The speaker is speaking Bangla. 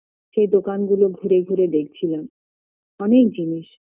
সে দোকান গুলো ঘুরে ঘুরে দেখছিলাম অনেক জিনিস